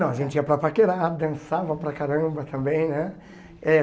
Não, a gente ia para paquerar, dançava para caramba também, né? Eh